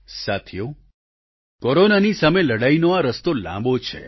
સાથીઓ કોરોનાની સામે લડાઈનો આ રસ્તો લાંબો છે